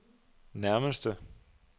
nærmeste